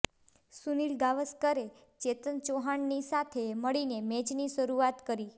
સુનીલ ગાવસ્કરે ચેતન ચૌહાણની સાથે મળીને મેચની શરૂઆત કરી